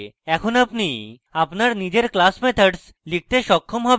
এখন আপনি আপনার নিজের class methods লিখতে সক্ষম হবেন